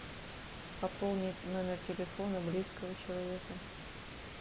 пополнить номер телефона близкого человека